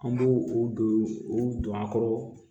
An b'u u don u don a kɔrɔ